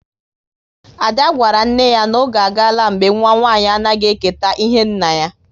Ada gwara nne ya n'oge agala mgbe nwa nwanyị anaghị eketa ihe nna ya